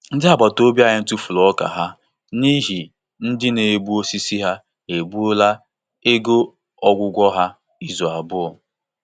Ndị agbata obi anyị tụfuru ọka ha n'ihi ndị na-egbu osisi ha egbuola ego ọgwụgwọ ha izu abụọ.